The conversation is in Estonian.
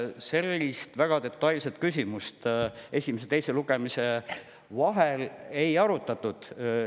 Sellist väga detailset küsimust esimese ja teise lugemise vahel ei arutatud.